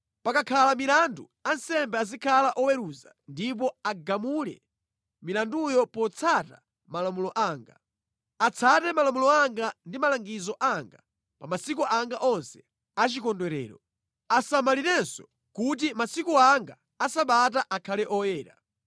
“ ‘Pakakhala milandu, ansembe azikhala oweruza ndipo agamule milanduyo potsata malamulo anga. Atsate malamulo anga ndi malangizo anga pa za masiku anga onse a chikondwerero. Asamalirenso kuti masiku anga a Sabata akhale oyera.